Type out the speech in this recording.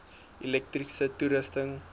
elektriese toerusting